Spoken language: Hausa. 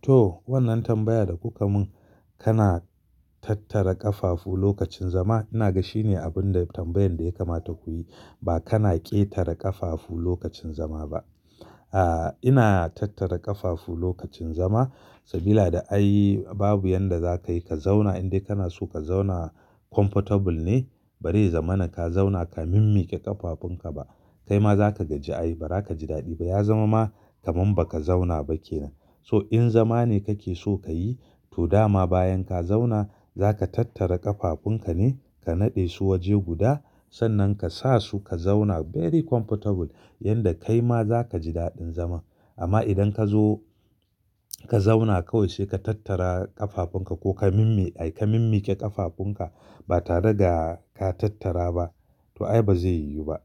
Toh wannan tambaya da kuka mun kana tattara ƙafafu lokacin zama ina ga shine abun da tambayan da ya kamata ku yi ba kana ƙetare ƙafafu lokacin zama ba. A ina tattara ƙafafu lokacin zama sabida da ai babu yanda za ka yi ka zauna in dai kana so ka zauna comfortable ne bari ya zaman ka zauna ka mimmiƙe ƙafafun ka ba. Kai ma za ka gaji ai ba za ka ji daɗi ba ya zama ma kaman baka zauna ba kenan. So in zama ne kake so ka yi toh dama bayan ka zauna za ka tattara ƙafafun ka ne ka naɗe su waje guda sannan ka sa su ka zauna very comfortable yanda kai ma za ka ji daɗin zama. Amma idan kazo ka zauna kawai sai ka tattara ƙafafun ka ko ka mimmi ai ka mimmiƙe ƙafafun ka ba tare da ka tattara ba to ai ba zai yiwu ba.